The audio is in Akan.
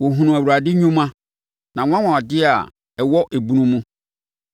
Wɔhunuu Awurade nnwuma, nʼanwanwadeɛ a ɛwɔ ebunu mu.